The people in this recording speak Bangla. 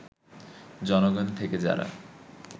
জনগণ থেকে যারা